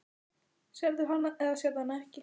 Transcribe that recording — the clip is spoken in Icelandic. Sérðu hana eða sérðu hana ekki?